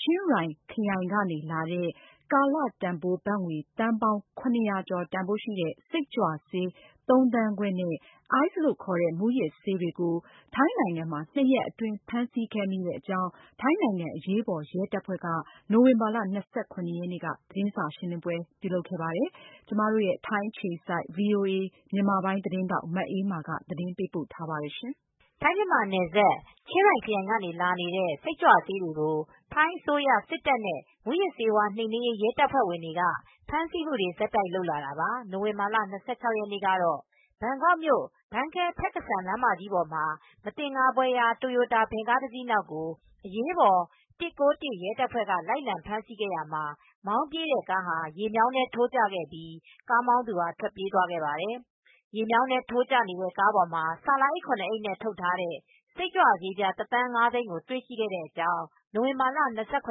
ချင်းရိုင်ခရိုင်ကနေလာတဲ့ ကာလတန်ဘိုးဘတ်ငွေ သန်ပေါင်းရ၀၀ကျော် တန်ဖိုးရှိတဲ့ စိတ်ကြွဆေး ၃သန်းခွဲနဲ့ အိုက်စ်လို့ခေါ်တဲ့ မူးယစ်ဆေးတွေကို နွံထဘူရီခရိုင်နဲ့ ဘန်ကောက်မြို့တွေမှာ ၂ရက်အတွင်း ဖမ်းဆီးမိခဲ့ကြောင်း ထိုင်းနိုင်ငံအရေးပေါ်ရဲတပ်ဖွဲ့က နိုဝင်ဘာလ၂၇ရက်နေ့မှာ သတင်းစာရှင်းလင်းခဲ့ပါတယ်။ VOA သတင်းထောက် မအေးအေးမာက သတင်းပေးပို့ထားပါတယ်။ ထိုင်း-မြန်မာနယ်စပ် ချင်းရိုင်ခရိုင်ကနေ ဝင်လာနေတဲ့ စိတ်ကြွဆေးတွေကို ထိုင်းအစိုးရစစ်တပ်နဲ့ မူးယစ်ဆေးဝါးနှိမ်နင်းရေး ရဲတပ်ဖွဲတွေက ဖမ်းဆီးမူတွေကို ဆက်တိုက်လုပ်ခဲ့တာပါ။ နိုဝင်လာလ ၂၆ ရက်နေ့ကတော့ ဘန်ကောက်မြို့ ဘန်ခဲ ဖက်ကစန် လမ်း ကြီးပေါ်မှာ မသင်္ကာဖွယ်ရာ တိုရိုတာ ဗင်ကားတစီးနောက်ကို အရေးပေါ်၁၉၁ ရဲတပ်ဖွဲ့ က လိုက်လံ ဖမ်းဆီးခဲ့ရာမှာ မောင်းပြေးတဲ့ကားဟာ ရေမြောင်းထဲ ထိုးကျသွားခဲ့ပြီး ကားမောင်းသူထွက်ပြေးသွားခဲ့ပါတယ်။ ရေမြောင်းထဲထိုးကျနေတဲ့ ကားပေါ်မှာ ဆာလာအိပ် အိပ်နဲ့ ထုတ်ထားတဲ့ စိတ်ကြွဆေး ပြားတစ်သန်းငါးသိန်းတွေ့ရှိခဲ့တဲ့အကြောင်း နိုဝင်ဘာလ၂၇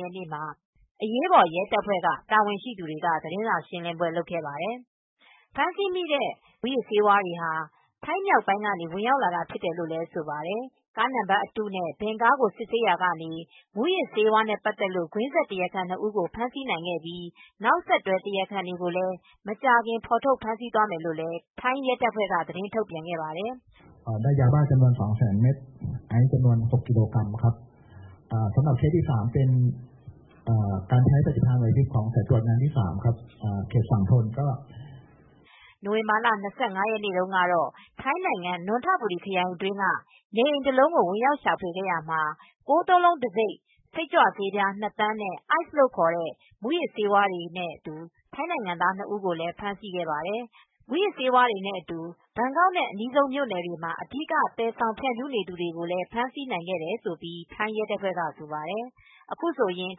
ရက်နေ့မှာ အရေးပေါ် ရဲတပ်ဖွဲ့က တာဝန်ရှိသူတွေက သတင်းစာရှင်းလင်းပွဲလုပ်ခဲ့ပါတယ်။ ဖမ်းဆီးမိတဲ့ စိတ်ကြွမူးယစ်ဆေးတွေဟာ ထိုင်းမြောက်ပိုင်းက ဝင်ရောက်လာတာဖြစ်တယ်လို ့လည်း ဆိုပါတယ်။ ကားနံပါတ်အတုနဲ့ ဗင်ကားကိုစစ်ဆေးရာက မူးယစ်ဆေး ကွင်းဆက် တရားခံ နှစ်ဦးကို ဖမ်းဆီးနိုင်ခဲ့ပြီး နောက်ဆက်တွဲ တရားခံတွေကိုလည်း မကြာခင်ဖေါ်ထုတ်ဖမ်းဆီးသွားမယ်လို့ ထိုင်းရဲတပ်ဖွဲ့က သတင်းထုတ်ပြန်သွားပါတယ်။ နိုဝင်ဘာလ ၂၅ရက်နေ့တုန်းကတော့ ထိုင်းနိုင်ငံ၊ နွံထဘူရီခရိုင်အတွင်းက နေအိမ်တလုံးကိုဝင်ရောက်ရှာဖွေရာမှာ ၉၉၉ တံဆိပ်စိတ်ကြွဆေး ၂သန်းနဲ့ အိုက်စ်လို့ခေါ်တဲ့ မူယစ်ဆေးဝါးတွေနဲ့ ထိုင်းနိုင်ငံသား ၂ဦးကို ဖမ်းဆီးခဲ့ပါတယ်။ အခု မူးယစ်ဆေးဝါးတွေနဲ့အတူ ဘန်ကောက်နဲ့ အနီးဆုံးမြို့နယ်တွေမှာ အဓိက သယ်ဆောင်သူ ဖြန့်ဖြူးနေသူတွေကို ဖမ်းဆီးနိုင်ခဲ့တယ်လို့လည်း ထိုင်းရဲတပ်ဖွဲ့က ဆိုပါတယ် ။အခုဆိုရင်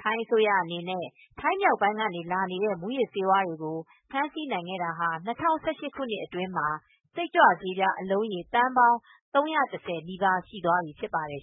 ထိုင်းအစိုးရအနေနဲ့ ထိုင်းမြောက်ပိုင်းကနေ လာနေတဲ့ မူယစ်ဆေးဝါးတွေကို ဖမ်းဆီးနိုင်ခဲ့တာဟာ ၂၀၁၈ခုနှစ်အတွင်းမှာ စိတ်ကြွဆေးအလုံးရေ သန်းပေါင်း ၃၁၀ နီးပါး ရှိသွားပြီဖြစ်ပါတယ်